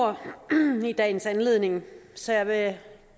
ord i dagens anledning så jeg vil